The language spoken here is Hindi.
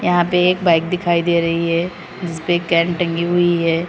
यहां एक बाइक दिखाई दे रही है उसपे कैन टंगी हुई है।